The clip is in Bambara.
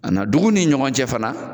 A na , dugu ni ɲɔgɔn cɛ fana